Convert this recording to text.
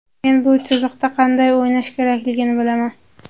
Men bu chiziqda qanday o‘ynash kerakligini bilaman.